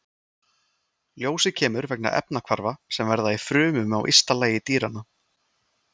Ljósið kemur vegna efnahvarfa sem verða í frumum á ysta lagi dýranna.